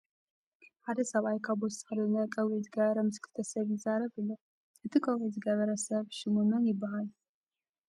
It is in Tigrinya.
ሓደ ሰብአይ ካቦት ዝተከደነ ቀዊዕ ዝገበረ ምስ ክልተ ሰብ ይዛረብ ኣሎ ። እቲ ቀዊዕ ዝገበረ ሰብ ሹሙ መን ይብሃል ?